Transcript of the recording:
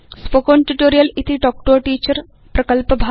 spoken tutorial इति talk to a teacher प्रकल्पभाग